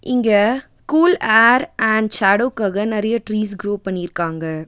இங்க cool air and ஷேடோக்காக நெறைய ட்ரீஸ் க்குரோ பண்ணிருக்காங்க.